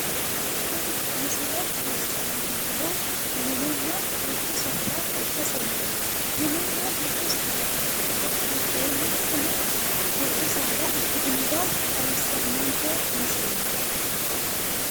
Tini misile xawissannonkehu mininna dubbu saada ikkaseeti. Mininna dubbu saada giddoonni tini dubbu saada ikkitinota xawisannonke misileeti.